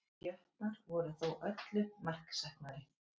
Jötnar voru þó öllu marksæknari